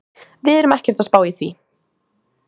Við erum ekkert að spá í því.